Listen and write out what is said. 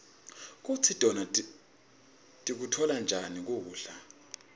kutsi tona tikutfola njani kubla